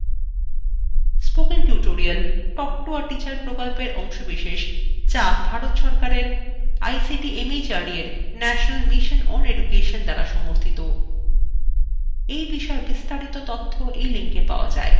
spoken tutorial talk to a teacher প্রকল্পের অংশবিশেষ যা ভারত সরকারের আইসিটি শিক্ষা দ্বারা উপর mhrd এর ন্যাশনাল mission সমর্থিত